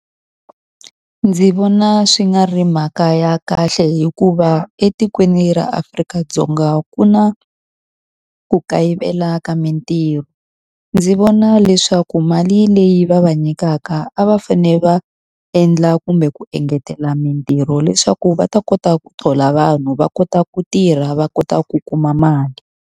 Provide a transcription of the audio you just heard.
Ndzi vona swi nga ri mhaka ya kahle hikuva etikweni ra Afrika-Dzonga ku na ku kayivela ka mintirho. Ndzi vona na leswaku mali leyi va va nyikaka a va fanele va endla kumbe ku engetela mintirho leswaku va ta kota ku thola vanhu, va kota ku tirha, va kota ku kuma mali.